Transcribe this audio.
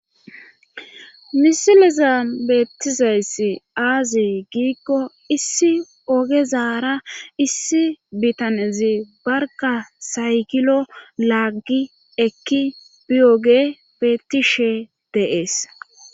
misileza beettizayssi aaze giikko issi ogezaara issi bitanezi barka saygilo laaggi ekki biyoge bettishe de'ees